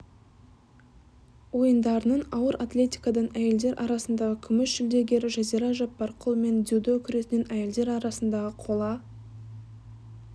ойындарының ауыр атлетикадан әйелдер арасындағы күміс жүлдегері жазира жаппарқұл мен дэюдо күресінен әйелдер арасындағы қола